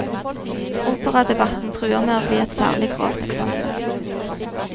Operadebatten truer med å bli et særlig grovt eksempel.